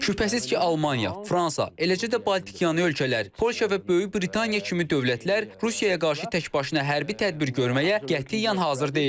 Şübhəsiz ki, Almaniya, Fransa, eləcə də Baltikyanı ölkələr, Polşa və Böyük Britaniya kimi dövlətlər Rusiyaya qarşı təkbaşına hərbi tədbir görməyə qətiyyən hazır deyil.